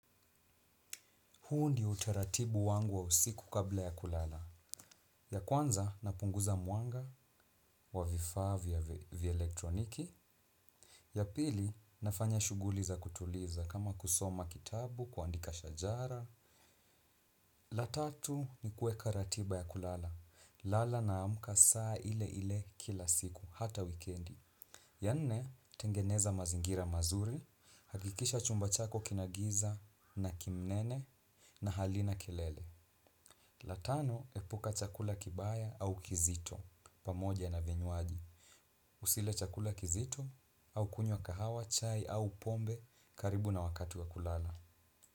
Huu ndio utaratibu wangu wa usiku kabla ya kulala. Ya kwanza, napunguza mwanga wa vifaa vya elektroniki. Ya pili nafanya shughuli za kutuliza kama kusoma kitabu kuandika shajara la tatu ni kuweka ratiba ya kulala. Lala naamka saa ile ile kila siku, hata wikendi. Ya nne tengeneza mazingira mazuri hakikisha chumba chako kina giza naki mnene na halina kelele. La tano epuka chakula kibaya au kizito pamoja na vinywaji. Usile chakula kizito au kunywa kahawa chai au pombe karibu na wakati wa kulala.